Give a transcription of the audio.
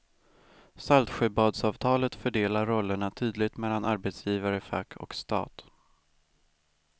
Saltsjöbadsavtalet fördelar rollerna tydligt mellan arbetsgivare, fack och stat.